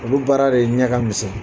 Olu baara de ɲƐ ka misƐn